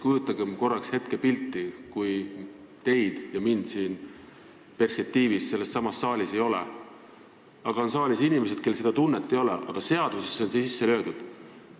Kujutagem korraks ette pilti, kui perspektiivis teid ega mind siin ei ole ja sellessamas saalis on inimesed, kellel ei ole seda tunnet, aga see on seadusesse sisse löödud.